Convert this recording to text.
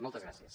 moltes gràcies